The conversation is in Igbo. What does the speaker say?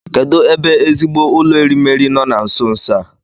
Kedụ ebe ezigbo ụlọ erimeri nọ na nso nso a?